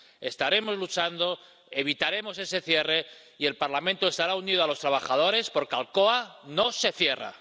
Estaremos luchando, evitaremos ese cierre y el Parlamento estará unido a los trabajadores porque ¡Alcoa no se cierra!